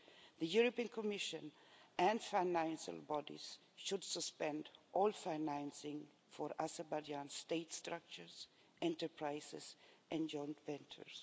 The European Commission and financial bodies should suspend all financing for Azerbaijan state structures, enterprises and joint ventures.